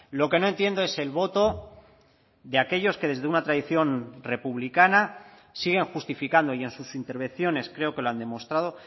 lo que no entiendo es el voto de aquellos que desde una tradición republicana siguen justificando y en sus intervenciones creo que lo han demostrado